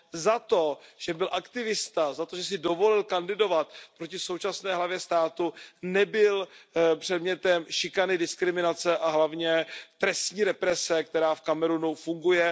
za to, že byl aktivista, za to, že si dovolil kandidovat proti současné hlavě státu, nebyl předmětem šikany, diskriminace a hlavně trestní represe, která v Kamerunu funguje.